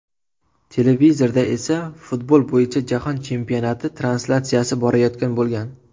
Televizorda esa futbol bo‘yicha jahon chempionati translyatsiyasi borayotgan bo‘lgan.